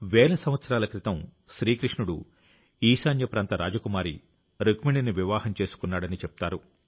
వేల సంవత్సరాల క్రితం శ్రీకృష్ణుడు ఈశాన్యప్రాంత రాజకుమారి రుక్మిణిని వివాహం చేసుకున్నాడని చెప్తారు